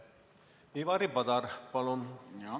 Ivari Padar, palun!